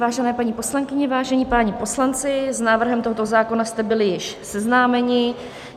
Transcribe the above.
Vážené paní poslankyně, vážení páni poslanci, s návrhem tohoto zákona jste byli již seznámeni.